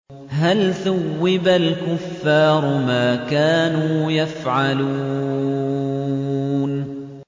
هَلْ ثُوِّبَ الْكُفَّارُ مَا كَانُوا يَفْعَلُونَ